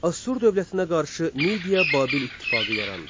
Assur dövlətinə qarşı Midia-Babil ittifaqı yarandı.